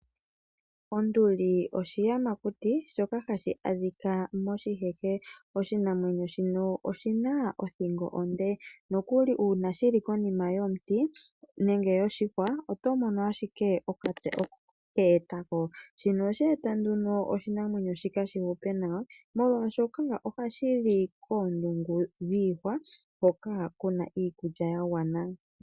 Onduli oshiyamakuti shoka hashi adhika moshiheke. Oshinamwenyo shimo oshina othingo onde, nokuli una shili konima yomuti nenge yoshihwa oto mono ashike okatse oko keetwa ko. Shino ohashi eta nduno oshinamwenyo shino shi hupe nawa, molwaashoka ohashi li koondungu dhiihwa hoka kuna iikulya ya gwana.